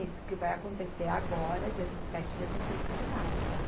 que vai acontecer agora, dia vinte e sete e dia vinte e oito de março.